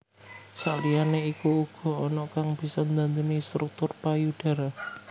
Sakliyane iku uga ana kang bisa ndhandhani struktur payudara